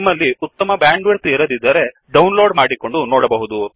ನಿಮ್ಮಲ್ಲಿ ಉತ್ತಮ bandwidth ಇರದಿದ್ದರೆ ಡೌನ್ ಲೋಡ್ ಮಾಡಿಕೊಂಡು ನೋಡಬಹುದು